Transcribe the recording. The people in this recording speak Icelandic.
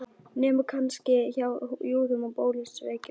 Nema kannski hjá júðum og bolsévikum.